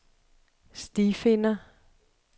stifinder